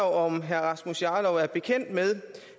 om herre rasmus jarlov er bekendt med